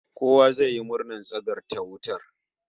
Kowa zai yi murnar tsagaita wutar